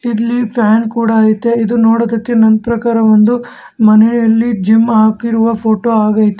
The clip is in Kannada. ಇಲ್ಲಿ ಫ್ಯಾನ್ ಕೂಡ ಐತೆ ಇದು ನೋಡೋದಕ್ಕೆ ನನ್ ಪ್ರಕಾರ ಒಂದು ಮನೆಯಲ್ಲಿ ಜಿಮ್ ಆಕಿರುವ ಫೋಟೋ ಆಗೈತೆ.